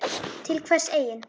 Til hvers eigin